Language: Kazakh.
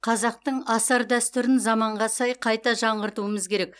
қазақтың асар дәстүрін заманға сай қайта жаңғыртуымыз қажет